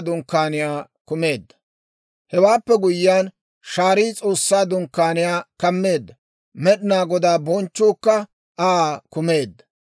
Hewaappe guyyiyaan shaarii S'oossaa Dunkkaaniyaa kammeedda; Med'inaa Godaa bonchchuukka Aa kumeedda.